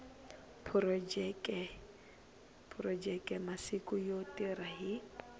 phurojeke masiku yo tirha hi